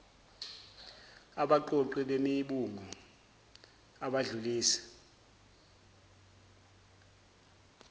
abaqoqi bemibungu abadlulisi